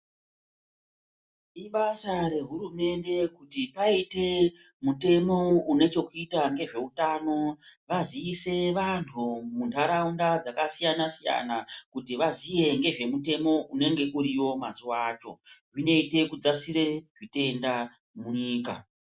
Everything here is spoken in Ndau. I basa rehurumende kuti paite mutemo unechekuita ngezveutano vazise vantu muntaraunda dzakasiyana siyana kuti vaziye ngezve mutemo unenge uriyo mazuwa acho zvinoite kudzasire zvitenda munyika.